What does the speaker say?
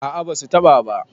a a ba su taɓa ba